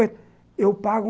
Eu pago.